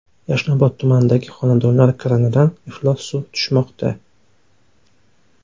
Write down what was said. Yashnobod tumanidagi xonadonlar kranidan iflos suv tushmoqda .